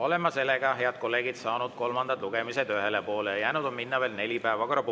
Head kolleegid, oleme saanud kolmandate lugemistega ühele poole, jäänud on veel neli päevakorrapunkti.